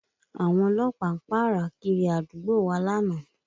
Àwọn ọlọ́pàá ń pààrà kiri àdúgbò wa lánàá